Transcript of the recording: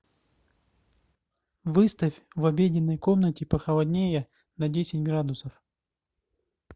выставь в обеденной комнате похолоднее на десять градусов